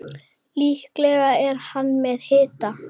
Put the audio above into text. Líklega er hann með hita.